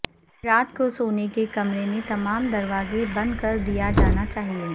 رات کو سونے کے کمرے میں تمام دروازے بند کر دیا جانا چاہئے